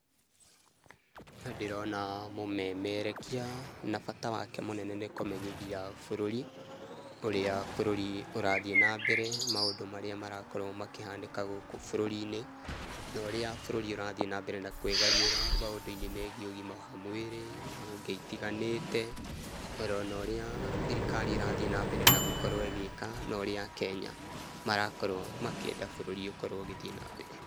Nĩ ndĩrona mũmerekia, na bata wake mũnene nĩ kũmenyithia bũrũri ũrĩa bũrũri ũrathiĩ na mbere, maũndũ marĩa marakorũo makĩhanĩka gũkũ bũrũri-inĩ, norĩa bũrũri ũrathiĩ na mbere na kwĩgariũra. Maũndũ megiĩ ũgima wa mwĩrĩ, honge itiganĩte na onorĩa thirikari ĩrathiĩ na mbere na gũkorũo ĩgĩka, no rĩa a Kenya marakorũo makĩenda bũrũri ũkorwo ũgĩthiĩ na mbere.